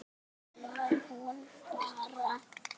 Þannig var hún bara.